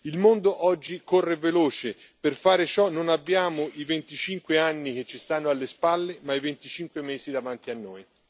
Il mondo oggi corre veloce per fare ciò non abbiamo i 25 anni che ci stanno alle spalle, ma i 25 mesi davanti a noi.